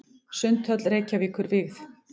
Sundhöll Reykjavíkur vígð.